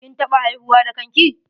KIn taɓa haihuwa da kan ki?